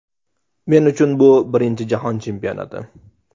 Men uchun bu birinchi jahon chempionati.